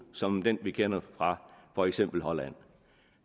som den vi kender fra for eksempel holland